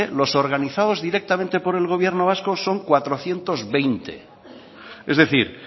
los organizados directamente por el gobierno vasco son cuatrocientos veinte es decir